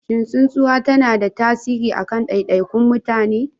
Shin tsinuwa tana da tasiri a kan daidaikun mutane?